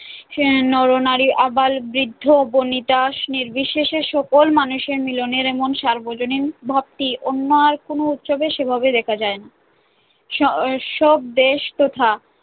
আহ নর-নারী, আবাল-বৃদ্ধ-বনিতা নির্বিশেষে সকল মানুষের মিলনের এমন সার্বজনীন ভাবটি অন্য আর কোনো উৎসবে সেভাবে দেখা যায়না সসব দেশ তথা